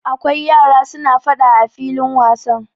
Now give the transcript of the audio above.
Akwai yara suna faɗa a filin wasan.